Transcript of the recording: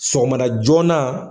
Sɔgɔmada joona.